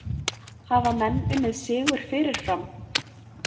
Hafa menn unnið sigur fyrirfram?